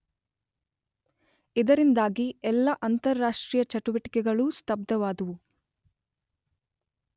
ಇದರಿಂದಾಗಿ ಎಲ್ಲ ಅಂತಾರಾಷ್ಟ್ರೀಯ ಚಟುವಟಿಕೆಗಳೂ ಸ್ತಬ್ಧವಾದುವು.